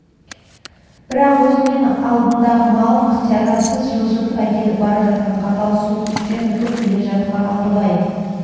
бірақ өзі мен алдындағы малын ықтиярдан тыс жылжытып әкетіп бара жатқан қатал суық күштен үркіп келе жатқан алтыбай